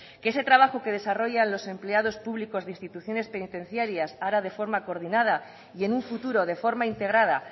que ese trabajo que desarrollan los empleados públicos de instituciones penitenciaras ahora de forma coordinada y en un futuro de forma integrada